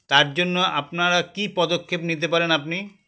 তারজন্য আপনারা কী পদক্ষেপ নিতে পারেন আপনি